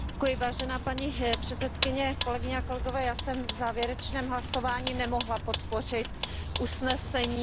Já jsem v konečném hlasování nemohla podpořit usnesení o evropském pilíři sociálních práv.